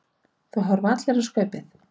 Það horfa allir á Skaupið.